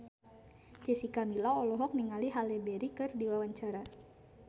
Jessica Milla olohok ningali Halle Berry keur diwawancara